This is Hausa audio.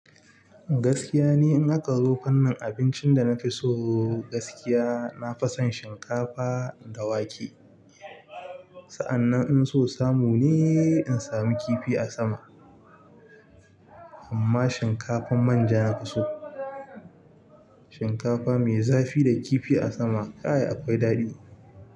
Gaskiya ni in aka zo kan fanin abincin da na fi so gaskiya, na fi son shinkafa da wake. Sa'annan in so samu ne, in sami kifi a sama. Amma shinkafan manja na fi so. Shinkafa mai zafi da kifi a sama, kai akwai daɗi.